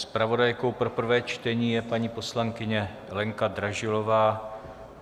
Zpravodajkou pro prvé čtení je paní poslankyně Lenka Dražilová.